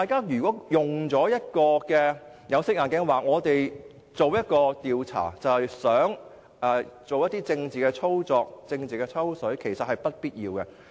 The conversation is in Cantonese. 如果大家戴有色眼鏡，認為我們進行調查其實想作出政治操作、政治"抽水"的話，其實是不必要的。